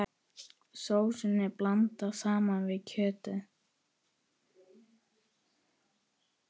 Sósunni blandað saman við kjötið.